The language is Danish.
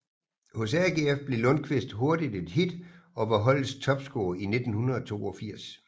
Hos AGF blev Lundkvist hurtigt et hit og var holdets topscorer i 1982